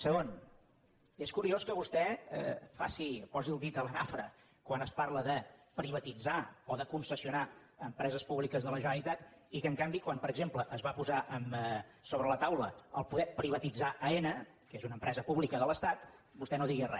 segon és curiós que vostè posi el dit a la nafra quan es parla de privatitzar o de concessionar empreses públiques de la generalitat i que en canvi quan per exemple es va posar sobre la taula poder privatitzar aena que és una empresa pública de l’estat vostè no digui re